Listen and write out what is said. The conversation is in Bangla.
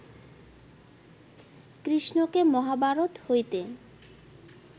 কৃষ্ণকে মহাভারত হইতে